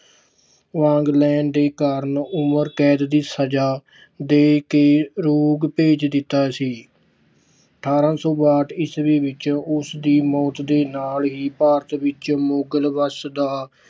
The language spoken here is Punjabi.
ਵਾਂਗ ਲੈਣ ਦੇ ਕਾਰਨ ਉਮਰ ਕੈਦ ਦੀ ਸਜਾ ਦੇ ਕੇ ਰੰਗੂਨ ਭੇਜ ਦਿੱਤਾ ਸੀ। ਅਠਾਰਾਂ ਸੌ ਬਾਹਟ ਈਸਵੀ ਵਿੱਚ ਉਸਦੀ ਮੌਤ ਦੇ ਨਾਲ ਹੀ ਭਾਰਤ ਵਿੱਚ ਮੁਗਲ ਵੰਸ਼ ਦਾ